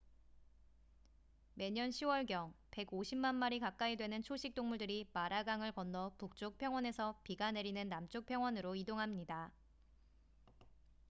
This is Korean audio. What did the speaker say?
매년 10월경 150만 마리 가까이 되는 초식동물들이 마라강을 건너 북쪽 평원에서 비가 내리는 남쪽 평원으로 이동합니다